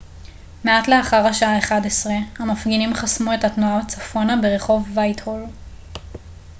מעט לאחר השעה 11:00 המפגינים חסמו את התנועה צפונה ברחוב וייטהול